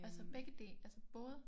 Altså begge altså både?